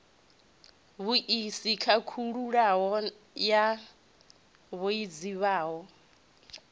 vhuisi khakhululo ya vhue zwifhao